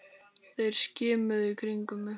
Þeir skimuðu í kringum sig.